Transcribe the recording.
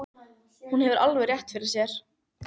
Hún hefur alveg rétt fyrir sér.